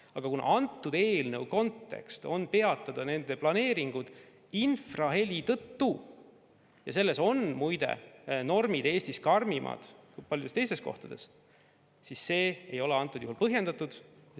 Aga kuna antud eelnõu kontekst on peatada need planeeringud infraheli tõttu, ja selles on muide normid Eestis karmimad kui paljudes teistes kohtades, siis see ei ole põhjendatud.